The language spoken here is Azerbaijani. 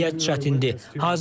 Vəziyyət çətindir.